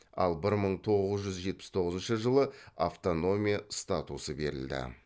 ал бір мың тоғыз жүз жетпіс тоғызыншы жылы автономия статусы берілді